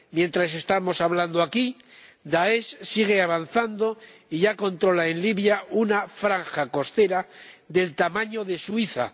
Mientras estamos hablando aquí, Daesh sigue avanzando y ya controla en Libia una franja costera del tamaño de Suiza.